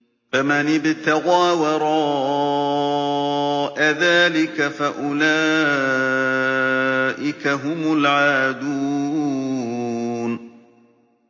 فَمَنِ ابْتَغَىٰ وَرَاءَ ذَٰلِكَ فَأُولَٰئِكَ هُمُ الْعَادُونَ